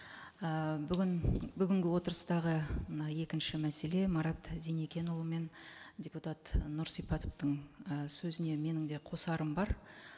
і бүгін бүгінгі отырыстағы мына екінші мәселе марат зеникенұлы мен депутат нұрсипатовтың і сөзіне менің де қосарым бар